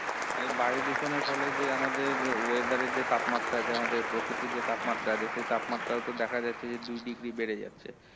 আর এই বায়ু দূষণের ফলে যে আমাদের আহ weather এর যে তাপমাত্রা যে আমাদের প্রকৃতির যে তাপমাত্রা যে সেই তাপমাত্রা ও তো দেখা যাচ্ছে যে দুই degree বেড়ে যাচ্ছে